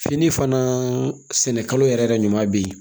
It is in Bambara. Fini fana sɛnɛkalo yɛrɛ yɛrɛ ɲuman be yen